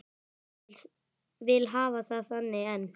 Vil hafa það þannig enn.